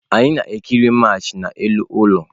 Anyị na-ekiri Match n'elu ụlọ.